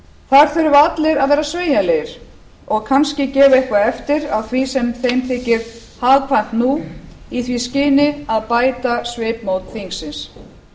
þar þurfa allir að vera sveigjanlegir og kannski gefa eitthvað eftir af því sem þeim þykir hagkvæmt nú í því skyni að bæta svipmót þingsins